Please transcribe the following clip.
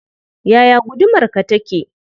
Yaya gudumarka take?